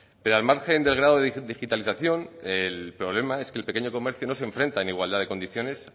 pero al margen del grado de digitalización el problema es que el pequeño comercio no se enfrenta en igualdad de condiciones